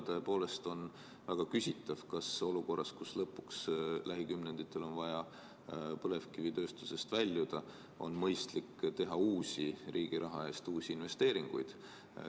Samas on tõepoolest väga küsitav, kas olukorras, kus lähikümnenditel on siiski vaja põlevkivitööstusest loobuda, on mõistlik teha riigi raha eest uusi investeeringuid.